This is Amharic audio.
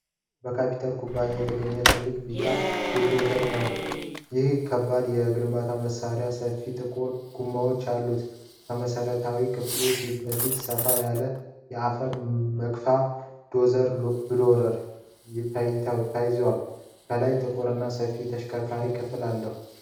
ከካተርፒላር ኩባንያ የተገኘ ትልቅ ቢጫ ቡልዶዘር ነው። ይህ ከባድ የግንባታ መሣሪያ ሰፋፊ ጥቁር ጎማዎች አሉት። ከመሠረታዊ ክፍሉ ፊት ለፊት ሰፋ ያለ የአፈር መግቻ (ዶዘር ብሌድ) ተያይዟል። ከላይ ጥቁርና ሰፊ የአሽከርካሪዎች ክፍል አለው።